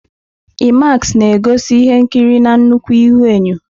IMAX na-egosi ihe nkiri na nnukwu ihuenyo.